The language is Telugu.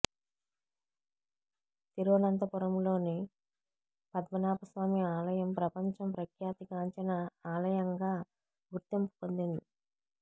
తిరువనంతపురంలోని పద్మనాభ స్వామి ఆలయం ప్రపంచం ప్రఖ్యాతిగాంచిన ఆలయంగా గుర్తింపు పొందిందిం